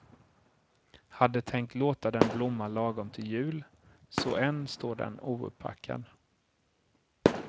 Hade tänkt låta den blomma lagom till jul, så än står den ouppackad.